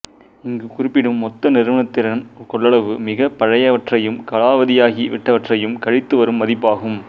இங்கு குறிப்பிடும் மொத்த நிறுவனத்திறன் கொள்ளளவு மிகப் பழையவற்றையும் காலாவதியாகி விட்டவற்றையும் கழித்துவரும் மதிப்பாகும்